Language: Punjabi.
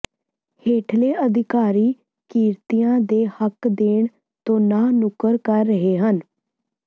ਹੇਠਲੇ ਅਧਿਕਾਰੀ ਕਿਰਤੀਆਂ ਦੇ ਹੱਕ ਦੇਣ ਤੋਂ ਨਾਂਹ ਨੁੱਕਰ ਕਰ ਰਹੇ ਹਨ